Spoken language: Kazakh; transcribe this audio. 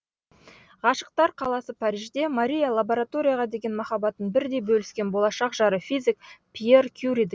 ғашықтар қаласы парижде мария лабораторияға деген махаббатын бірдей бөліскен болашақ жары физик пьер кюриді